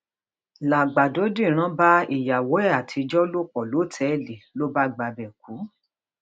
làgbàdo dírán bá ìyàwó ẹ àtijọ lò pọ lọtẹẹlì ló bá gbabẹ kú